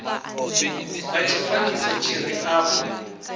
nga tshifanyiso tshi re afho